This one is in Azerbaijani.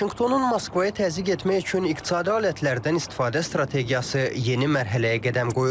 Vaşinqtonun Moskvaya təzyiq etmək üçün iqtisadi alətlərdən istifadə strategiyası yeni mərhələyə qədəm qoyur.